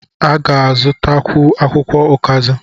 A ga-azụtakwu akwụkwọ ọkazị?